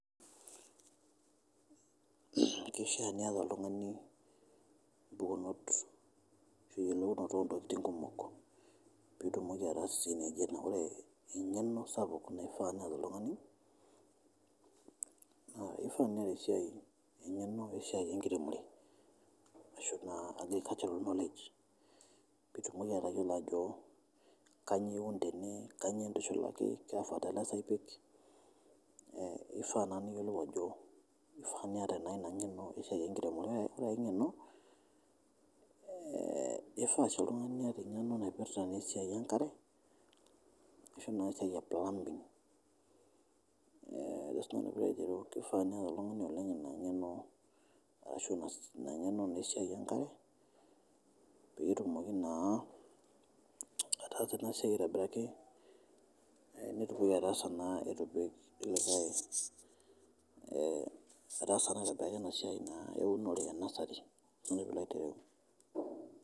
Keishaa nieta ltungani mpukunot eyeleunoto o ntokitin kumok piitumoki ataasishore naji ena ore eng'eno sapuk neifaa neeta oltungani naa neifaa nieta eng'eno esiai enkiremore ashu naa ajo agricultural knowledge pitumoki atoyolo ajo kanyioo iun tene kanyioo intushulaki eifaa naa niyolou ajo eifaa nieta naa ina ng'eno esiai enkiremore, ore ngae ng'eno eifaa si oltungani nepik emg'eno esiai naipirita esiai enkare asho naa esiai e plumbing ajo si nanu pilo aitereu keifaa oltungani neyau ltungani oleng ina ng'eno arashu ina ng'eno naa esia enkare peetumoki naa ataasa ena siai aitobiraki, netumoki ataasa naa atuedol likae ataasa naa ena siai eunore enesheti ajo si nanu pilo aitareu.